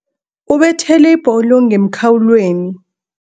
Ubethele ibholo ngemkhawulweni.